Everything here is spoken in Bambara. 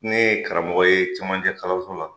Ne ye karamɔgɔ ye camancɛ kaloso la.